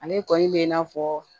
Ale kɔni bɛ i n'a fɔ